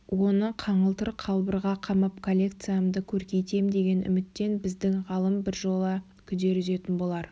оны қаңылтыр қалбырға қамап коллекциямды көркейтем деген үміттен біздің ғалым біржола күдер үзетін болар